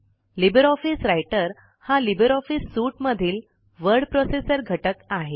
Libre office Writer हा LibreOffice suite मधील word processor घटक आहे